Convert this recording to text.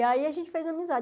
E aí a gente fez amizade.